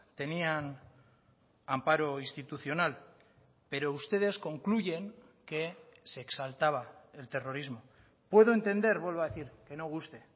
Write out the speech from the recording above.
tenían amparo institucional pero ustedes concluyen que se exaltaba el terrorismo puedo entender vuelvo a decir que no guste